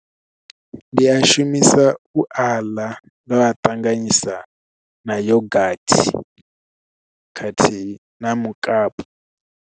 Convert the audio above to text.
Ndi a shumisa u aḽa ndo a ṱanganyisa na yogathi khathihi na mukapu.